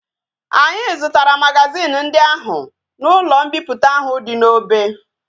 Anyi zutara magazin ndi ahu na ulo mpiputa ahu di na obe